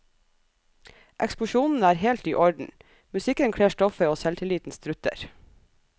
Eksplosjonene er helt i orden, musikken kler stoffet og selvtilliten strutter.